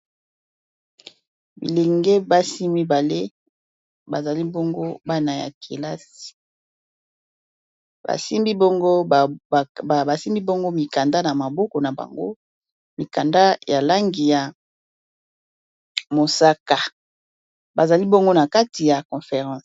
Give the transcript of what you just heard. bilenge basi mibale bazali bongo bana ya kelasi basimbi bongo mikanda na maboko na bango mikanda ya langi ya mosaka bazali bongo na kati ya conference